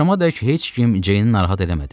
Axşamədək heç kim Ceyni narahat eləmədi.